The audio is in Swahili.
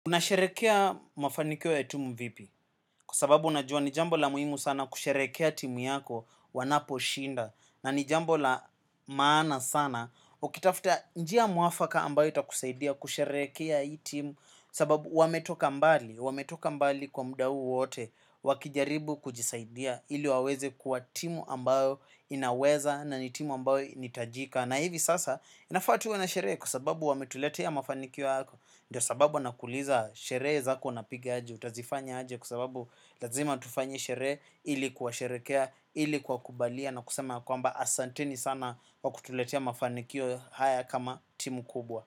Unasherekea mafanikio ya timu vipi, kwa sababu unajua nijambo la muhimu sana kusherehekea timu yako wanapo shinda. Na nijambo la maana sana, ukitafta njia mwafaka ambayo itakusaidia kusherehekea hii timu. Sababu wametoka mbali, wametoka mbali kwa mda huu wote, wakijaribu kujisaidia ili waweze kuwa timu ambayo inaweza na nitimu ambayo nitajika na hivi sasa, nafaa tuwe na sherehe kwa sababu wametuletea mafanikio hako. Ndio sababu nakuuliza sherehe zako na piga aje. Utazifanya aje kwasababu lazima tufanye sherehe ili kuwa sherekea, ili kuwa kubalia. Na kusema yakwamba asanteni sana wakutuletea mafanikio haya kama timu kubwa.